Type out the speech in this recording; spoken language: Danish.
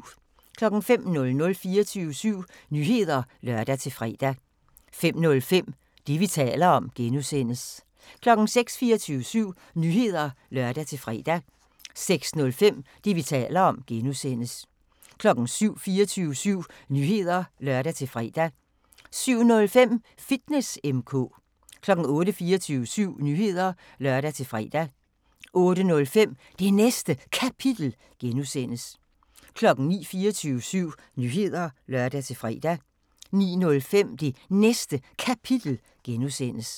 05:00: 24syv Nyheder (lør-fre) 05:05: Det, vi taler om (G) 06:00: 24syv Nyheder (lør-fre) 06:05: Det, vi taler om (G) 07:00: 24syv Nyheder (lør-fre) 07:05: Fitness M/K 08:00: 24syv Nyheder (lør-fre) 08:05: Det Næste Kapitel (G) 09:00: 24syv Nyheder (lør-fre) 09:05: Det Næste Kapitel (G)